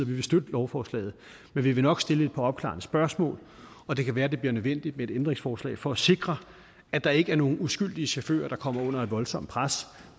vi vil støtte lovforslaget men vi vil nok stille et par opklarende spørgsmål og det kan være det bliver nødvendigt med et ændringsforslag for at sikre at der ikke er nogle uskyldige chauffører der kommer under et voldsomt pres